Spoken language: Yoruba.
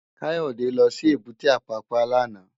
Kayode lò si ébùté Apapa làná